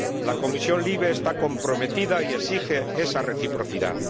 La Comisión LIBE está comprometida y exige esa reciprocidad.